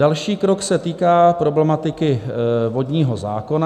Další krok se týká problematiky vodního zákona.